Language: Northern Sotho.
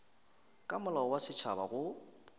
ka molao wa setšhaba go